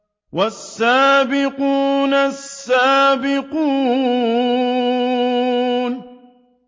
وَالسَّابِقُونَ السَّابِقُونَ